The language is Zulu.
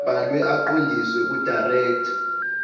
abhalwe aqondiswe kudirector